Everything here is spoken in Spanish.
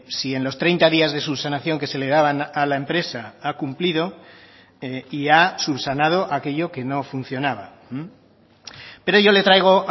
si en los treinta días de subsanación que se le daban a la empresa ha cumplido y ha subsanado aquello que no funcionaba pero yo le traigo